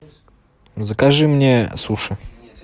закажи мне суши